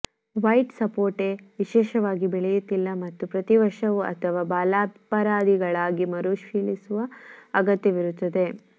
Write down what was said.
white ಸಪೋಟೆ ವಿಶೇಷವಾಗಿ ಬೆಳೆಯುತ್ತಿಲ್ಲ ಮತ್ತು ಪ್ರತಿ ವರ್ಷವೂ ಅಥವಾ ಬಾಲಾಪರಾಧಿಗಳಾಗಿ ಮರುಪರಿಶೀಲಿಸುವ ಅಗತ್ಯವಿರುತ್ತದೆ